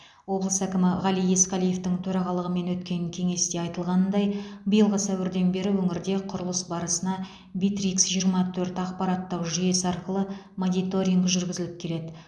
облыс әкімі ғали есқалиевтің төрағалығымен өткен кеңесте айтылғанындай биылғы сәуірден бері өңірде құрылыс барысына битрикс жиырма төрт ақпараттық жүйесі арқылы мониторинг жүргізіліп келеді